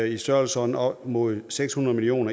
i størrelsesordenen op mod seks hundrede million